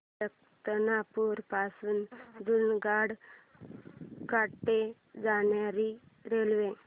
सुल्तानपुर पासून जुनागढ कडे जाणारी रेल्वे